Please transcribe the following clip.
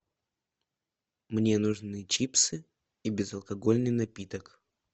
мне нужны чипсы и безалкогольный напиток